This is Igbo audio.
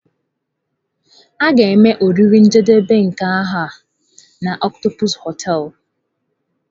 A ga-eme oriri njedebe nke afọ na Octopus hoteelu.